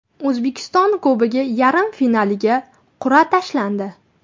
O‘zbekiston Kubogi yarim finaliga qur’a tashlandi.